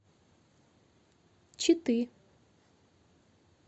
читы